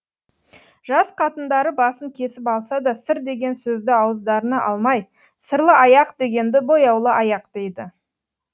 жас қатындары басын кесіп алса да сыр деген сөзді ауыздарына алмай сырлы аяқ дегенді бояулы аяқ дейді